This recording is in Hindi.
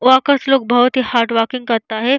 वहाँ का लोग बहुत ही हार्ड वर्किंग करता है।